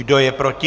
Kdo je proti?